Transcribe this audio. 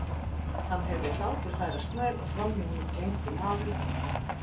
Hann heyrði hlátur færast nær og framhjá honum gengu maður og kona.